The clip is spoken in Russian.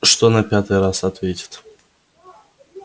что на пятый раз ответит